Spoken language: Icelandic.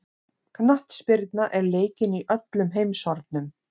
Knattspyrna er leikin í öllum heimshornum.